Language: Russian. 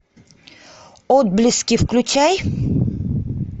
отблески включай